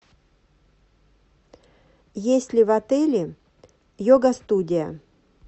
есть ли в отеле йога студия